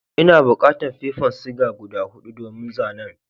N'na bukatan fefan siga guda hudu domin zanen.